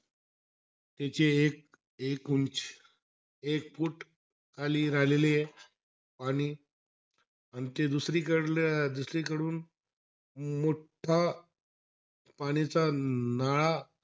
त्याचे एक-एक उंची एक फूट खाली राहिलेला आहे पाणी. अन ते दुसरीकडलं दुसरीकडून मोठा दुसरीकडून पाणीचा नाळा,